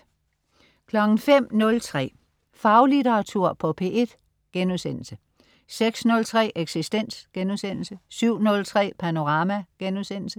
05.03 Faglitteratur på P1* 06.03 Eksistens* 07.03 Panorama*